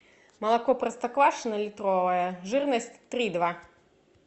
молоко простоквашино литровое жирность три и два